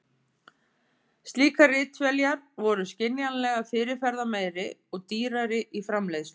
Slíkar ritvélar voru skiljanlega fyrirferðarmeiri og dýrari í framleiðslu.